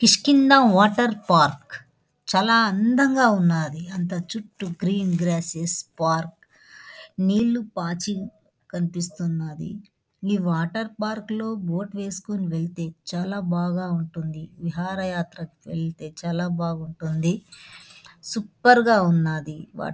ఇస్కిల water park చాల అందగా ఉన్నాది. అంత చుట్టూ గ్రీన్ గ్రేస్సేస్ పార్క్ నీలు పాచి కనిపిస్తున్నాది.ఏ వాటర్ పార్క్ లో బోట్ వేసుకొని వెళ్తే చాల బాగా ఉంటుంది .విహార యాత్ర కి వెళ్తే చాల బాగుంటుంది. సూపర్ గ ఉన్నాది.